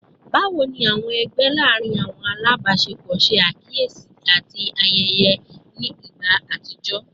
Bawo ni awọn ẹgbẹ laarin awọn alabaṣepọ ṣe akiyesi ati ṣe ayẹyẹ ni igba atijọ?